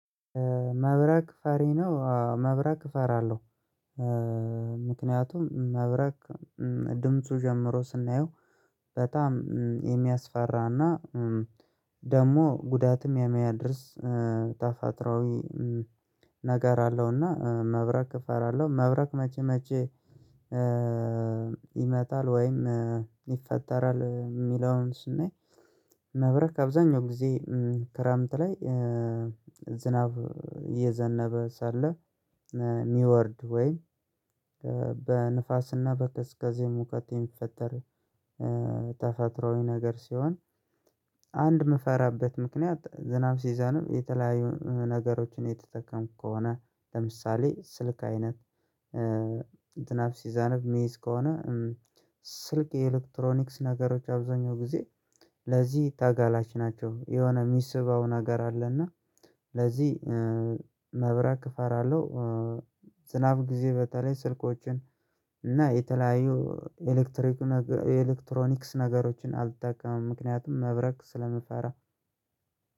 መብረቅ ፈሪ ነው አዎ መብረቅ እፈራለሁ። ምክንያቱም መብረቅ ድምፁ ጀምሮ ስናየው በጣም የሚያስፈራና ደሞ ጉዳትም የሚያደርስ ተፈጥራዊ ነገር አለውና መብረቅ እፈራለሁ። መብረቅ መቼ መቼ? ይመጣል ወይም ይፈጠራል የሚለውን ስናይ። መብረቅ አብዛኛው ጊዜ ክረምት ላይ ዝናብ እየዘነበ ሳለ ሚወርድ ወይ በንፋስና በከዝከዜ ሙቀት የሚፈጠር ተፈጥሮዊ ነገር ሲሆን። አንድ የምፈራበት ምክንያት ዝናብ ሲዘንብ የተለያዩ ነገሮችን ምትጠቀምኩ ከሆነ ለምሳሌ ስልክ አይነት። ዝናብ ሲዘንብ ሚይዝ ከሆነ ስልክ የኤሌክትሮኒክስ ነገሮች አብዛኛው ጊዜ ለዚህ ታጋላጭ ናቸው የሆነ ሚስበው ነገር አለና። ለዚህ መብራት እፈራለሁ። ዝናብ ጊዜ በተለይ ስልኮችን እና የተለያዩ ኤሌክትሪክ ኤሌክትሮኒክስ ነገሮችን አልጠቀምም ምክንያቱም መብረቅ ስለምፈራ።